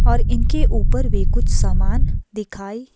और इनके ऊपर भी कुछ सामान दिखाए।